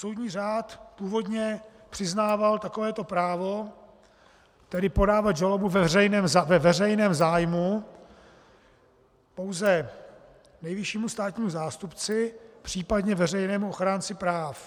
Soudní řád původně přiznával takovéto právo - tedy podávat žalobu ve veřejném zájmu - pouze nejvyššímu státnímu zástupci, případně veřejnému ochránci práv.